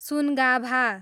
Sungabha